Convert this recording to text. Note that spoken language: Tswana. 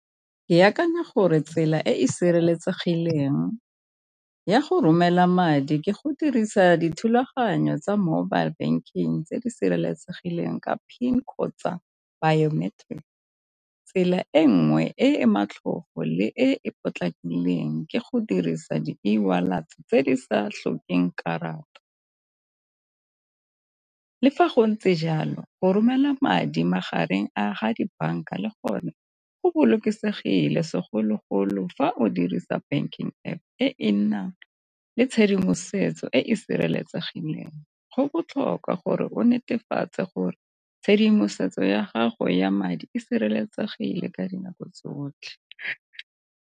Ke akanya gore tsela e e sireletsegileng ya go romela madi ke go dirisa dithulaganyo tsa mobile banking tse di sireletsegileng ka PIN kgotsa . Tsela e nngwe e le e potlakileng ke go dirisa eWallet tse di sa tlhokeng karata. Le fa go ntse jalo go romela madi magareng a ga dibanka le gone go bolokesegile segologolo fa o dirisa banking App e e nnang le tshedimosetso e e sireletsegileng, go botlhokwa gore o netefatse gore tshedimosetso ya gago ya madi e sireletsegile ka dinako tsotlhe.